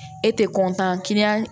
E tɛ